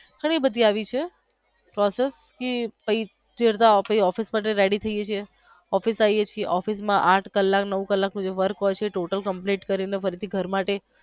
ઘણીબધી આવી છે process જે ઓફિસે માટે રેડી થઈ જય છી ઓફિસે થી ઓફિસ મા આઠ કલાક નવ કલાક સુધી work હોઈ છે total complete કરી ફરીથી ઘર માટે.